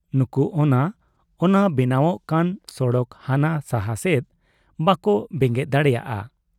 ᱱᱩᱠᱩ ᱚᱱᱟ ᱚᱱᱟ ᱵᱮᱱᱟᱣᱜ ᱠᱟᱱ ᱥᱚᱲᱚᱠ ᱦᱟᱱᱟ ᱥᱟᱦᱟ ᱥᱮᱫ ᱵᱟᱠᱚ ᱵᱮᱸᱜᱮᱫ ᱫᱟᱲᱮᱭᱟᱫ ᱟ ᱾